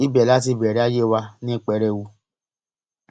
ibẹ la ti bẹrẹ ayé wa ní pẹrẹwu